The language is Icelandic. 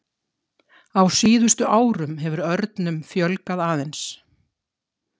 Á síðustu árum hefur örnum fjölgað aðeins.